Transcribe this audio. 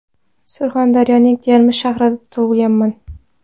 Surxondaryoning Termiz shahrida tug‘ilganman.